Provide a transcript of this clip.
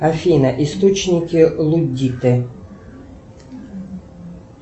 афина источники луддиты